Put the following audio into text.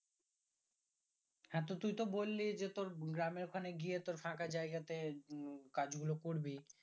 হ্যাঁ তো তুই তো বল্লি যে তোর গ্রামের ওই খানে গিয়ে তোর ফাঁকা জায়গাতে উম কাজগুলো করবি